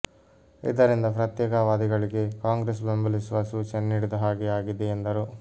ಇದರಿಂದ ಪ್ರತ್ಯೇಕತಾವಾದಿಗಳಿಗೆ ಕಾಂಗ್ರೆಸ್ ಬೆಂಬಲಿಸುವ ಸೂಚನೆ ನೀಡಿದ ಹಾಗೆ ಆಗಿದೆ ಎಂದರು